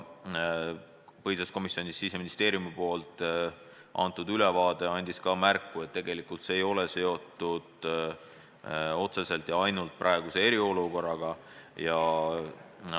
Siseministeeriumi seisukoht on, et tegelikult see ei ole seotud otseselt ja ainult eriolukorraga.